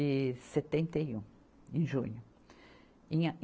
E setenta e um. Em junho. Em a